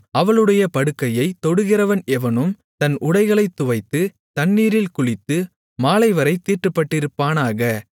அவளுடைய படுக்கையைத் தொடுகிறவன் எவனும் தன் உடைகளைத் துவைத்து தண்ணீரில் குளித்து மாலைவரைத் தீட்டுப்பட்டிருப்பானாக